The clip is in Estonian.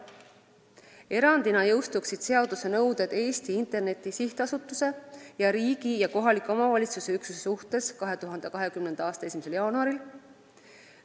Erandina jõustuksid seaduse nõuded Eesti Interneti SA ning riigi ja kohaliku omavalitsuse üksuse suhtes 2020. aasta 1. jaanuaril.